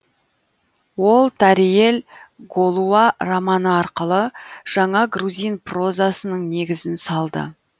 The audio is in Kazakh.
ол тариэль голуа романы арқылы жаңа грузин прозасының негізін салды